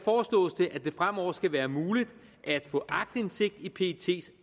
det fremover skal være muligt at få aktindsigt i pets